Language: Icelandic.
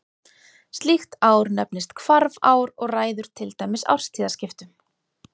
Slíkt ár nefnist hvarfár og ræður til dæmis árstíðaskiptum.